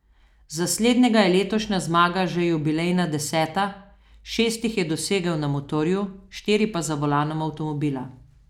Za slednjega je letošnja zmaga že jubilejna deseta, šest jih je dosegel na motorju, štiri pa za volanom avtomobila.